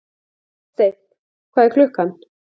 Oddsteinn, hvað er klukkan?